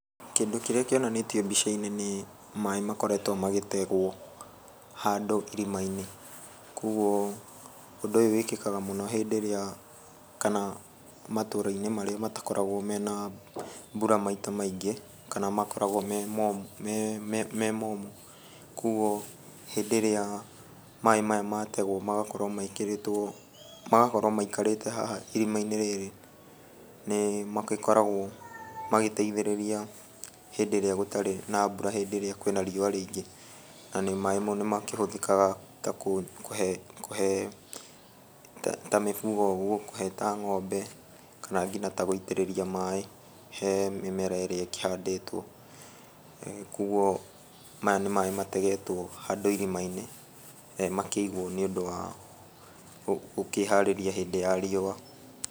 Kĩndũ kĩrĩa kĩonanĩtio mbica-inĩ nĩ maĩ makoretwo magĩtegwo handũ irima-inĩ. Kuoguo ũndũ ũyũ wĩkĩkaga mũno hĩndĩ ĩrĩa kana matũra-inĩ marĩa matakoragwo mena mbura maita maingĩ, kana makoragwo me momũ mee me momũ. Kuoguo hĩndĩ ĩrĩa maĩ maya mategwo magakorwo mekĩrĩtwo, magakorwo maikarĩte haha irima-inĩ rĩrĩ nĩmagĩkoragwo magĩteithĩrĩria hĩndĩ ĩrĩa gũtarĩ na mbura hĩndĩ ĩrĩa kwĩna riua rĩingĩ, na maĩ mo nĩmakĩhũthĩkaga ta kũhe kũhe ta mĩbugo ũguo, kũhe ta ngombe kana nginya ta gũitĩrĩria maĩ he mĩmera ĩrĩa ĩkĩhandĩtwo. Kuoguo maya nĩ maĩ mategetwo handũ irima-inĩ makĩigwo nĩũndũ wa gũkĩharĩria hĩndĩ ya riũa.